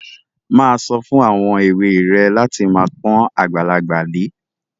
Má a sọ fún àwọn èwe rẹ láti máa pọ́n àgbàlagbà lé.